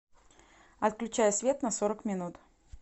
отключай свет на сорок минут